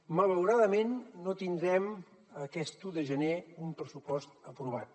malauradament no tindrem aquest un de gener un pressupost aprovat